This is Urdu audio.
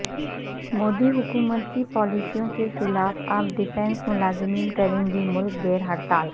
مودی حکومت کی پالیسیوں کے خلاف اب ڈیفنس ملازمین کریں گے ملک گیر ہڑتال